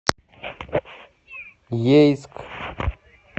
ейск